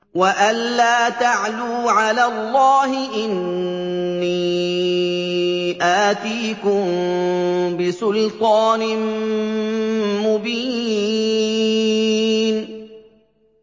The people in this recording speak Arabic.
وَأَن لَّا تَعْلُوا عَلَى اللَّهِ ۖ إِنِّي آتِيكُم بِسُلْطَانٍ مُّبِينٍ